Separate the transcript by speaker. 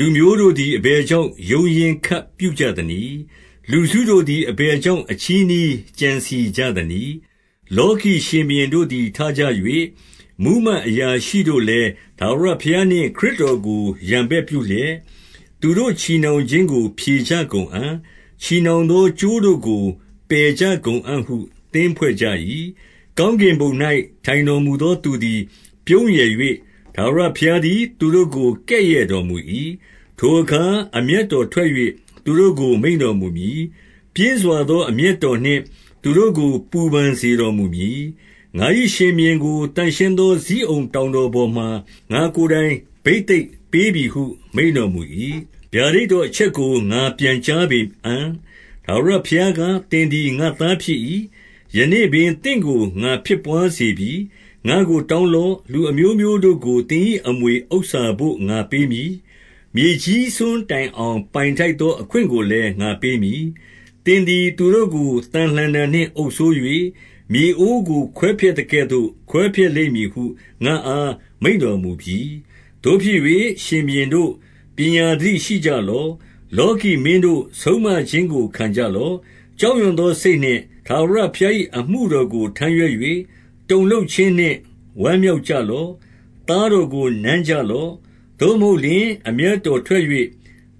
Speaker 1: လူမျိုးတို့သည် အဘယ်ကြောင့် ရုန်းရင်းခတ် ပြုကြသနည်း။ လူစုတို့သည် အဘယ်ကြောင့် အချည်းနှီး ကြံစည်ကြသနည်း။ 2 လောကီရှင်ဘုရင်တို့သည် ထကြ၍၊ မှူးမတ် အရာရှိတို့လည်း၊ ထာဝရဘုရားနှင့် ခရစ်တော်ကို ရန်ဘက်ပြုလျက်၊ 3 သူတို့ချည်နှောင်ခြင်းကို မြေကြကုန်အံ့။ ချည် နှောင်သောကြိုးတို့ကို ဖယ်ကြကုန်အံ့ သင်းဖွဲ့ကြ၏။ 4 ကောင်းကင်ဘုံ၌ ထိုင်တော်မူသောသူသည် ပြုံးရယ်၍၊ ထာဝရဘုရားသည် သူတို့ကို ကဲ့ရဲ့တော်မူ၏။ 5 ထိုအခါအမျက်တော်ထွက်၍၊ သူတို့ကိုမိန့်တော် မူမည်။ ပြင်းစွာသော အမျက်တော်နှင့် သူတို့ကို ပူပန် စေတော်မူမည်။ 6 ငါ၏ရှင်ဘုရင်ကို သန့်ရှင်းသော ဇိအုန်တောင် တော်ပေါ်မှာ၊ ငါ့ကိုယ်တိုင် ဘိသိတ်ပေးပြီဟု မိန့်တော် မူမည်။ 7 ဗျာဒိတ်တော်အချက်ကို ငါပြန်ကြားပေအံ့။ ထာဝရဘုရားက သင်သည် ငါ့သားဖြစ်၏။ ယနေ့ပင် သင့်ကို ငါဖြစ်ဘွားစေပြီ။ 8 ငါ့ကိုတောင်းလော့။ လူအမျိုးမျိုးတို့ကို သင်၏ အမွေဥစ္စာဘို့ ငါပေးမည်။ မြေကြီးစွန်းတိုင်အောင် ပိုင် ထိုက်သော အခွင့်ကိုလည်း ငါပေးမည်။ 9 သင်သည်သူတို့ကို သံလှံတံနှင့်အုပ်စိုး၍၊ မြေအိုးကို ခွဲဖျက်သကဲ့ သို့ခွဲဖျက်လိမ့်မည်ဟု ငါ့အားမိန့်တော်မူပြီ။ 10 သို့ဖြစ်၍ ရှင်ဘုရင်တို့၊ ပညာသတိရှိကြလော့။ လောကီမင်းတို့၊ ဆုံးမခြင်းကို ခံကြလော့။ 11 ကြောက်ရွံ့သောစိတ်နှင့် ထာဝရဘုရား၏ အမှု တော်ကို ထမ်းရွက်၍၊ တုန်လှုပ်ခြင်းနှင့် ဝမ်းမြောက်ကြ လော့။ 12 သားတော်ကို နမ်းကြလော့။ သို့မဟုတ်လျှင် အမျက်တော်ထွက်၍၊